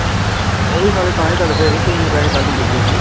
ਉਹ ਵੀ ਸਾਲੇ ਤਾਂ ਹੀ ਤੜਫੇ ਸੀ ਕਿ ਇੰਨੇ ਪੈਸੇ ਕੱਲ੍ਹ ਹੀ ਦੇਈਏ ਅਸੀਂ